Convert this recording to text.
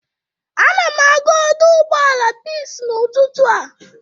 Anam aga ọdọ ụgbọala Pis n'ụtụtụ a.